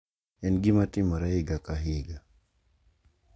En gima timore higa ka higa.